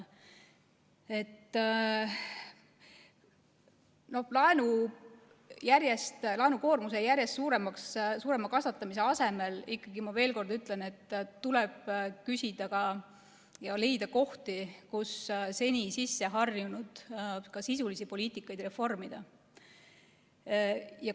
Laenukoormuse järjest suurema kasvatamise asemel ikkagi, ma veel kord ütlen, tuleb otsida ja ka leida kohti, kus seni sisseharjunud sisulist poliitikat reformida.